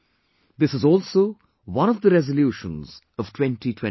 This is also one of the resolutions of 2021